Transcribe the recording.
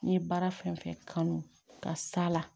N ye baara fɛn fɛn kanu ka s'a la